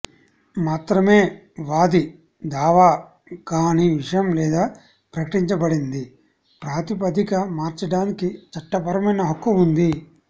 మాత్రమే వాది దావా గాని విషయం లేదా ప్రకటించబడింది ప్రాతిపదిక మార్చడానికి చట్టపరమైన హక్కు ఉంది